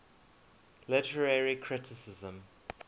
literary criticism